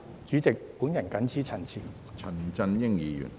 主席，我謹此陳辭。